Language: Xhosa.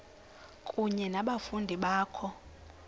kunye nabafundi bakho